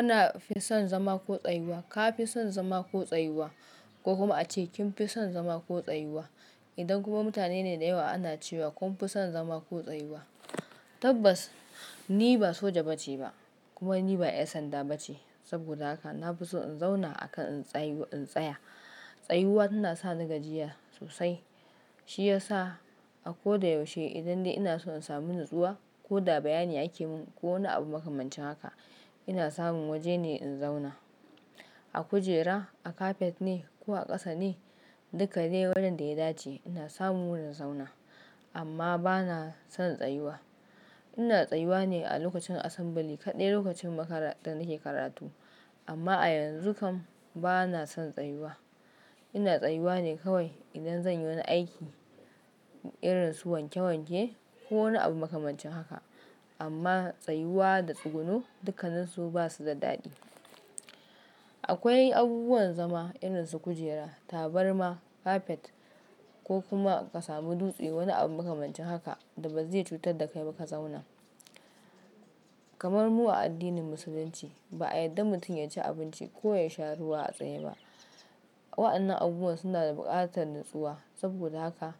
Ina fin son zama ko tsayuwa. Ka fi son zama ko tsayuwa ko kuma ace kin fi son zama ko tsayuwa. Idan kuma mutane ne da yawa ana cewa kun fi son zama ko tsayuwa. Tabbas ni ba soja ba ce ba kuma ni ba 'yar sanda ba ce. Saboda haka na fi so in zauna akan in tsaya. Tsayuwa tana sa ni gajiya sosai. Shi ya sa a ko da yaushe idan ina so in sami natsuwa ko da bayani ake mun ko wani abu makamancin haka, ina samun waje ne in zauna. A kujera, a kafet ne ko a ƙasa ne duka dai wurin ya dace ina samun wurin in zauna amma bana son tsayuwa. Ina tsayuwa ne a lokacin assembly kaɗai lokacin da nake karatu amma a yanzu kam bana son tsayuwa. Ina tsayuwa ne kawai idan zan yi wani aiki irin su wanke wanke ko wani abu makamancin haka amma tsayuwa da tsuguno duka nin su ba su da daɗi. Akwai abubuwan zama irin su kujera, tabarma, kafet ko kuma ka samu dutse wani abu makamancin haka da ba zai cutar da kai ba ka zauna. Kamar mu a addinin Musulunci ba a yadda mutum ya ci abinci ko ya sha ruwa a tsaye ba. Waɗannan abubuwa suna da buƙatar natsuwa saboda haka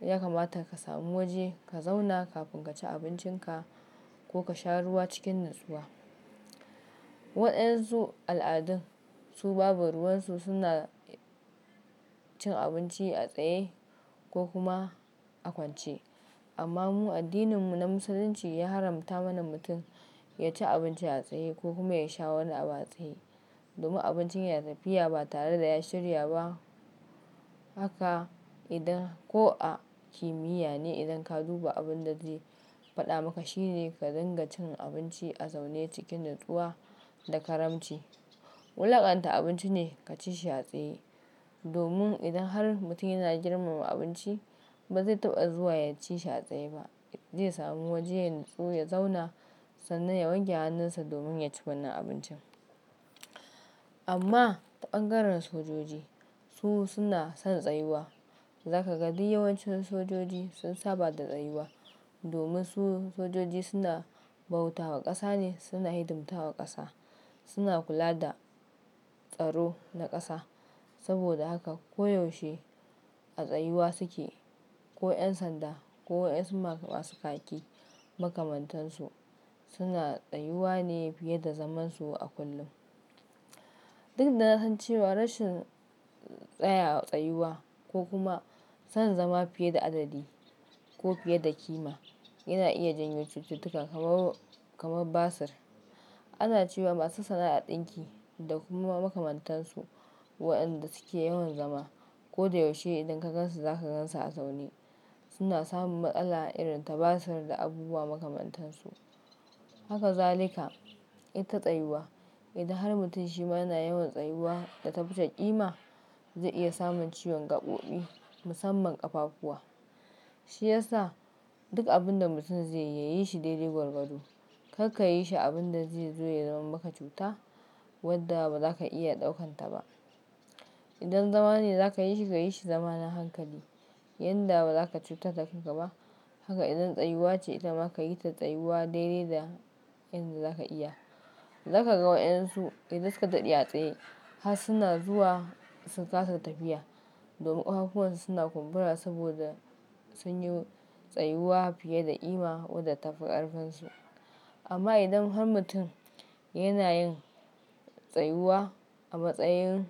ya kamata ka sami waje ka zauna kafin ka ci abincinka ko ka sha ruwa cikin natsuwa. Waɗansu al'adun su babu ruwansu suna cin abinci a tsaye ko kuma a kwance amma mu addininmu na Musulunci ya haramta mana mutum ya ci abinci a tsaye ko kuma ya sha wani abu a tsaye. Domin abincin ya tafi ya ba tare da ya shirya ba haka idan ko a kimiyya ne idan ka duba abun da zai faɗa maka shine ka dinga cin abinci a zaune cikin natsuwa da karamci. Wulakanta abinci ne ka ci shi a tsaye domin idan har mutum yana girmama abinci ba zai taɓa zuwa ya ci shi a tsaye ba. Zai sami waje yayi natsuwa ya zauna sannan ya wanke hannunsa domin ya ci wannan abincin. Amma ɓangaren sojoji su suna son tsayuwa. Zaka ga duk yawancin sojoji sun saba da tsayuwa domin su sojoji suna bautawa ƙasa ne, suna hidimta wa ƙasa. Suna kula da tsaro na ƙasa saboda haka koyaushe a tsayuwa suke. Ko 'yan sanda ko wasu masu kaki makamantansu suna tsayuwa ne fiye da zaman su a kullum. Duk da na san cewa rashin tsaya tsayuwa ko kuma son zama fiye da adadi ko fiye da ƙima yana iya janyo cututtuka kamar basir. Ana cewa masu sana'a ɗinki da kuma makamantansu waɗanda suke yawan zama ko da yaushe idan ka gan su zaka gan su a zaune suna samun matsala irin ta basir da abubuwa makamantansu. Hakazalika ita tsayuwa idan har mutum shi ma yana yawan tsayuwa da ta fi ƙima zai iya samun ciwon gaɓoɓi musamman ƙafafuwa. Shi ya sa duk abun da mutum zai yi, ya yi shi daidai gwargwado. Kar ka yi shi abin da zai zo ya zama maka cuta wadda ba za ka iya ɗaukan ta ba. Idan zama ne za ka yi shi, ka yi shi zamanin hankali yanda ba za ka cutar da kai ba. Haka idan tsayuwa ce ita ma ka yi ta tsayuwa daidai da yadda za ka iya. Zaka ga waɗansu idan suka dadi a tsaye har suna zuwa su kasa tafiya domin kafafuwansu suna kumbura saboda sun yi tsayuwa fiye da ƙima wadda ta fi ƙarfansu. Amma idan har mutum yana yin tsayuwa a matsayin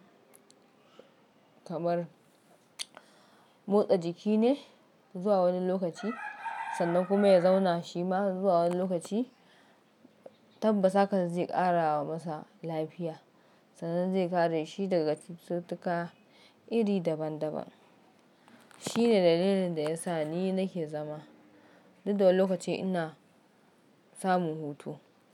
kamar motsa jiki ne zuwa wani lokaci sannan kuma ya zauna shi ma zuwa wani lokaci tabbas hakan zai ƙara masa lafiya sannan zai kare shi daga cututtuka iri daban daban. Shi ne dalilin da ya sa ni nake zama duk da wani lokaci ina samun hutu.